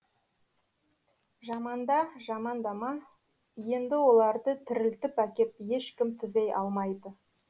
жаманда жамандама енді оларды тірілтіп әкеп ешкім түзей алмайды